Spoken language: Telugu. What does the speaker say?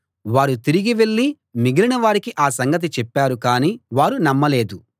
వారు తిరిగి వెళ్ళి మిగిలిన వారికి ఆ సంగతి చెప్పారు గానీ వారు నమ్మలేదు